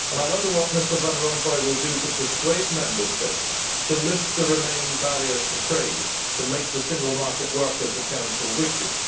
I wonder what Mr Van Rompuy will do to persuade Member States to lift the remaining barriers to trade in order to make the single market work as the Council wishes.